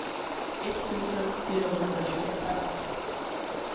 etttusen fyrahundratjugofem